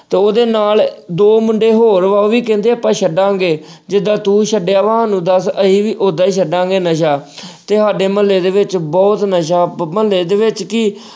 ਤੇ ਉਹਦੇ ਨਾਲ ਦੋ ਮੁੰਡੇ ਹੋਰ ਵਾ ਉਹ ਵੀ ਕਹਿੰਦੇ ਆਪਾਂ ਛੱਡਾਂਗੇ, ਜਿੱਦਾਂ ਤੂੰ ਛੱਡਿਆ ਵਾ ਸਾਨੂੰ ਵੀ ਦੱਸ ਅਸੀਂ ਵੀ ਉਹਦਾ ਹੀ ਛੱਡਾਂਗੇ ਨਸ਼ਾ ਅਹ ਤੇ ਸਾਡੇ ਮੁਹੱਲੇ ਦੇ ਵਿੱਚ ਬਹੁਤ ਨਸ਼ਾ ਬ ਮੁਹੱਲੇ ਦੇ ਵਿੱਚ ਕੀ